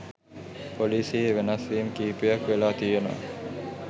පොලිසියේ වෙනස් වීම් කිහිපයක් වෙලා තියෙනවා